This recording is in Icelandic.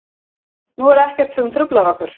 Nú er ekkert sem truflar okkur.